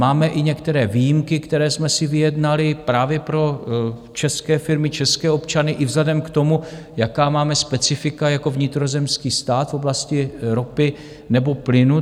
Máme i některé výjimky, které jsme si vyjednali právě pro české firmy, české občany i vzhledem k tomu, jaká máme specifika jako vnitrozemský stát v oblasti ropy nebo plynu.